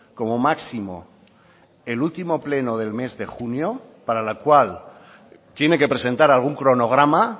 como máximo el último pleno del mes de junio para la cual tiene que presentar algún cronograma